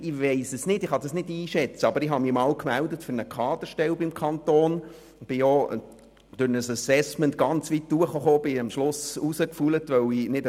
Zu meiner Vorrednerin: Ich meldete mich einst für eine Kaderstelle beim Kanton und kam beim Assessment bis in die letzte Runde.